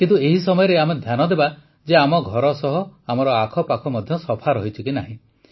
କିନ୍ତୁ ଏହି ସମୟରେ ଆମେ ଧ୍ୟାନ ଦେବା ଯେ ଆମ ଘର ସହ ଆମର ଆଖପାଖ ମଧ୍ୟ ସଫା ରହିଛି ନା ନାହିଁ